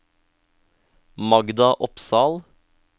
Magda Opsahl